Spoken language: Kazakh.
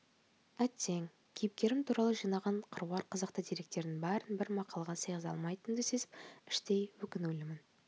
әттең кейіпкерім туралы жинаған қыруар қызықты деректерідің барын бір мақалаға сыйғыза алмайтынымды сезіп іштей өкінулімін